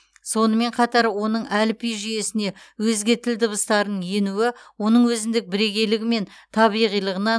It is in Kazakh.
сонымен қатар оның әліпби жүйесіне өзге тіл дыбыстарының енуі оның өзіндік бірегейлігі мен табиғилығына